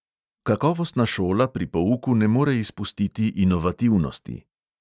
Kakovostna šola pri pouku ne more izpustiti inovativnosti.